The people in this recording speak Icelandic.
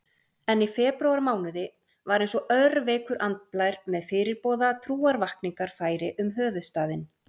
En í febrúarmánuði var einsog örveikur andblær með fyrirboða trúarvakningar færi um höfuðstaðinn.